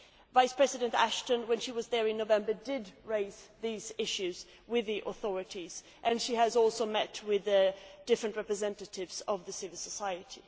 Vice President Ashton, when she was there in November, did raise these issues with the authorities and she has also met with different representatives of civil society.